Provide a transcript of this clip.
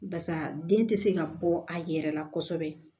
Barisa den tɛ se ka bɔ a yɛrɛ la kosɛbɛ